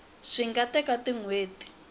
swi nga teka tin hweti